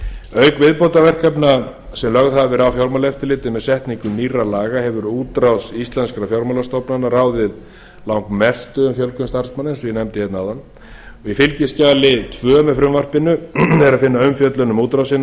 auk viðbótarverkefna sem lögð hafa verið á fjármálaeftirlitið með setningu nýrra laga hefur útrás íslenskra fjármálastofnana ráðið langmestu um fjölgun starfsmanna eins og ég nefndi áðan í fylgiskjali tvö með frumvarpinu er að finna umfjöllun um útrásina og